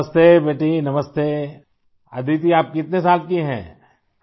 نمستے بیٹی نمستے ، آدیتی ، آپ کتنے سال کی ہیں ؟